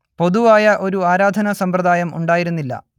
പൊതുവായ ഒരു ആരാധനാ സമ്പ്രദായം ഉണ്ടായിരുന്നില്ല